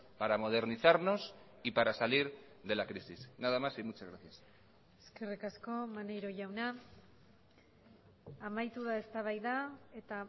para modernizarnos y para salir de la crisis nada más y muchas gracias eskerrik asko maneiro jauna amaitu da eztabaida eta